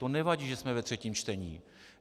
To nevadí, že jsme ve třetím čtení.